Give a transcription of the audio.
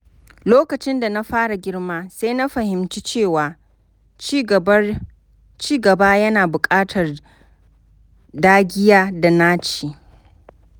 Lokacin da na fara girma, sai na fahimci cewa cigaba yana buƙatar dagiya da naci.